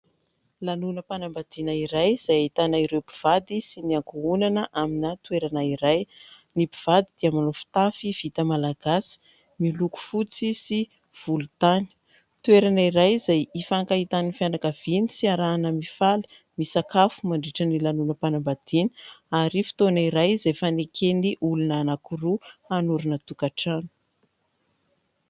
Lanonam-panambadiana iray izay ahitana ireo mpivady sy ny ankohonana amina toerana iray. Ny mpivady dia manao fitafy vita malagasy miloko fotsy sy volontany. Toerana iray izay ifankahitan'ny fianakaviany sy iarahana mifaly, misakafo mandritry ny lanonam-panambadiana ary fotoana iray izay ifaneken'ny olona anankiroa hanorina tokantrano.